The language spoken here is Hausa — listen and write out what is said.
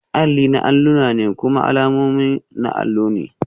Alli na alluna ne kuma alamomi na allo ne